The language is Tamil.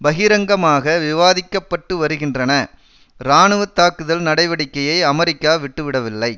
பகிரங்கமாக விவாதிக்க பட்டு வருகின்றன இராணுவ தாக்குதல் நடவடிக்கையை அமெரிக்கா விட்டுவிடவில்லை